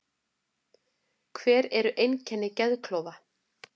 Hver eru einkenni geðklofa?